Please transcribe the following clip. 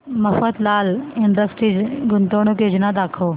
Mafatlal industries गुंतवणूक योजना दाखव